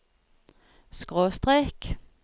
skråstrek